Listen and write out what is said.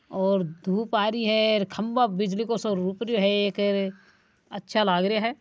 और धुप आ रही है खभा बिजली को सो रोप है अच्छा लग रहा है।